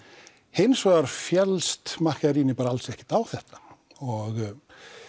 hins vegar féllst alls ekki á þetta og